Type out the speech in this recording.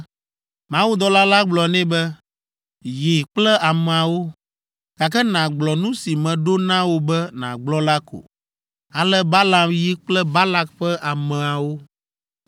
Mawudɔla la gblɔ nɛ be, “Yi kple ameawo, gake nàgblɔ nu si meɖo na wò be nàgblɔ la ko.” Ale Balaam yi kple Balak ƒe ameawo.